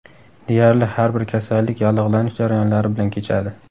Deyarli har bir kasallik yallig‘lanish jarayonlari bilan kechadi.